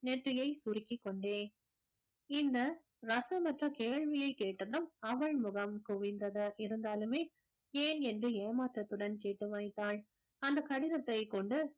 நெற்றியை சுருக்கிக் கொண்டே இந்த ரசமற்ற கேள்வியைக் கேட்டதும் அவள் முகம் குவிந்தது இருந்தாலுமே ஏன் என்று ஏமாற்றத்துடன் கேட்டு மறைத்தாள் அந்த கடிதத்தை கொண்டு